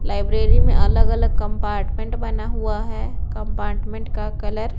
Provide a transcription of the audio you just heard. library में अलग-अलग compartment बना हुआ है कंपार्टमेंट का कलर --